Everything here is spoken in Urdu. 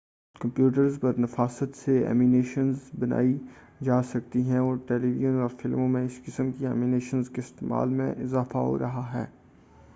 کمپیوٹرز پر نفاست سے اینیمیشنز بنائی جا سکتی ہیں اور ٹیلی ویژن اور فلموں میں اس قسم کی اینیمیشنز کے استعمال میں اضافہ ہو رہا ہے